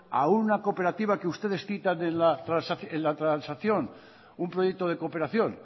a una cooperativa que ustedes citan en la transacción un proyecto de cooperación